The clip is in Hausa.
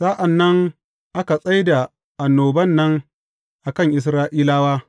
Sa’an nan aka tsai da annoban nan a kan Isra’ilawa.